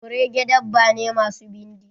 kurege dabba ne masu bindi.